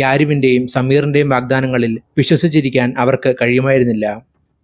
യാരിവിന്റെയും സമീറിന്റെയും വാഗ്ദാനങ്ങളിൽ വിശ്വസിച്ചിരിക്കാൻ അവർക്ക് കഴിയുമായിരുന്നില്ല.